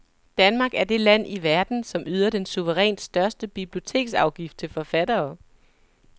Danmark er det land i verden, som yder den suverænt største biblioteksafgift til forfattere.